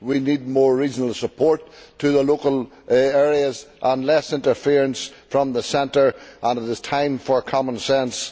we need more regional support to the local areas and less interference from the centre. It is time for common sense.